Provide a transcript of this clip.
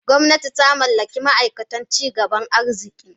Gwamnati ta mallaki ma aikatan ci gaban arziki.